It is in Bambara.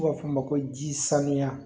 N'u b'a f'o ma ko ji sanuya